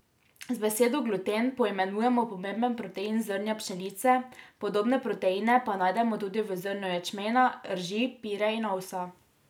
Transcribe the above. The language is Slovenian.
Z besedo gluten poimenujemo pomemben protein zrnja pšenice, podobne proteine pa najdemo tudi v zrnju ječmena, rži, pire in ovsa.